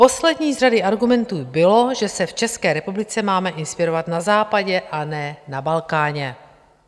Poslední z řady argumentů bylo, že se v České republice máme inspirovat na Západě, a ne na Balkáně.